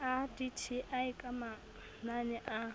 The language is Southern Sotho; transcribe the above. a dti ka manane a